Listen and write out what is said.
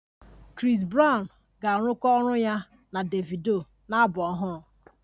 Chris brown ga-arụkọ ọrụ ya na Davido na abụ ọhụrụ